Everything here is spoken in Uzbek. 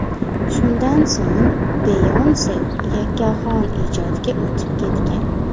Shundan so‘ng Beyonce yakkaxon ijodga o‘tib ketgan.